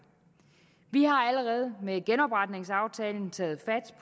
vi har allerede med genopretningsaftalen taget